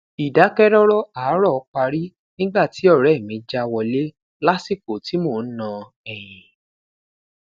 idakẹrọrọ aarọ pari nigba ti ọrẹ mi ja wọle lasiko ti mo n na ẹyin